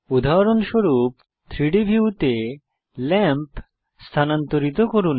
উদাহরণস্বরূপ 3ডি ভিউতে ল্যাম্প স্থানান্তরিত করুন